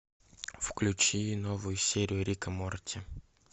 включи новую серию рик и морти